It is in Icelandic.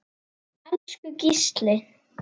Elsku Gísli.